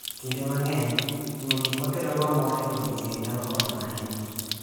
Kinde mang'eny, timo gik ma kelonwa mor e odiechieng' nyalo konyo ahinya.